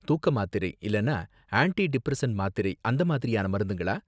தூக்க மாத்திரை இல்லனா ஆன்டி டிப்ரெஸன்ட் மாத்திரை அந்த மாதிரியான மருந்துங்களா